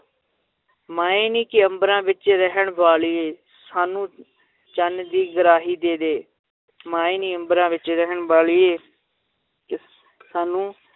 ਮਾਏ ਨੀ, ਕਿ ਅੰਬਰਾਂ ਵਿੱਚ ਰਹਿਣ ਵਾਲੀਏ ਸਾਨੂੰ ਚੰਨ ਦੀ ਗਰਾਹੀ ਦੇ ਦੇ ਮਾਏ ਨੀ ਅੰਬਰਾਂ ਵਿੱਚ ਰਹਿਣ ਵਾਲੀਏ ਸਾਨੂੰ